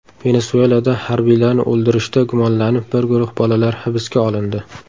Venesuelada harbiylarni o‘ldirishda gumonlanib bir guruh bolalar hibsga olindi.